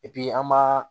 an b'a